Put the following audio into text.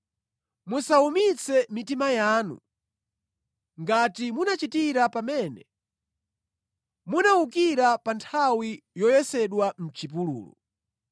musawumitse mitima yanu ngati munachitira pamene munawukira, pa nthawi yoyesedwa mʼchipululu.